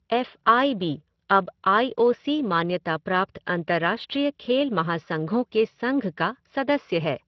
F I B अब I O C मान्यता प्राप्त अंतर्राष्ट्रीय खेल महासंघों के संघ का सदस्य है।